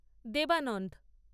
Devananda